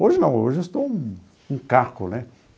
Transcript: Hoje não, hoje eu estou um um caco, né?